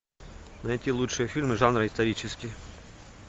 найти лучшие фильмы жанра исторический